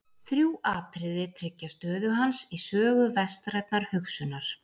Þrjú atriði tryggja stöðu hans í sögu vestrænnar hugsunar.